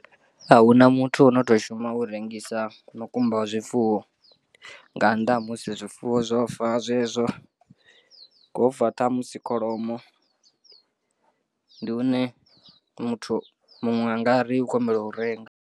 Ahuna muthu ono to shuma u rengisa mukumba wa zwifuwo nga nnḓa ha musi zwifuwo zwofa zwezwo ho fa ṱhamusi kholomo ndi hune muthu muṅwe anga ri u khou humbela u renga.